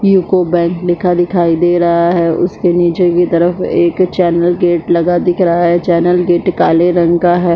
UCO Bank लिखा दिखाई दे रहा है उसके नीचे की तरफ एक चैनल गेट लगा दिख रहा है चैनल गेट काले रंग का है।